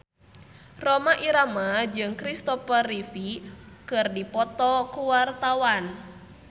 Rhoma Irama jeung Kristopher Reeve keur dipoto ku wartawan